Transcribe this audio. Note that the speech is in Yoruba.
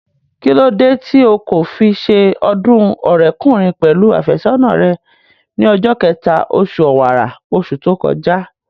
Kíló dé tí o kò fi se ọdún ọ̀rẹ́kùnrin pẹ̀lú àfẹ́sọ́nà rẹ ní ọjọ́ kẹta, osù ọ̀wàrà, osù tó kọjá?